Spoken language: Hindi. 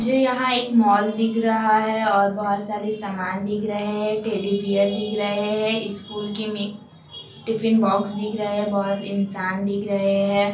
मुझे यहाँ एक मोल दिख रहा है और बहुत सारी सामान दिख रहे हैं टेडी बीयर दिख रहे हैं। स्कूल कि मी टिफिन बॉक्स दिख रहे हैं। बहुत इंसान दिख रहे हैं।